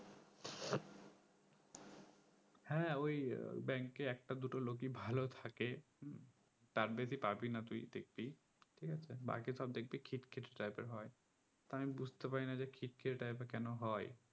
হ্যাঁ ওই bank এ একটা দুটো লোকেই ভালো থাকে তার বেশি পাবিনা তুই দেখবি ঠিক আছে বাকি সব দেখবি খিট খিটে type এর হয় তা আমি বুজতে পারিনা যে খিটখিটে type এর কোনো হয়